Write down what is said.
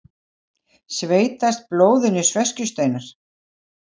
Sveitast blóðinu sveskjusteinar.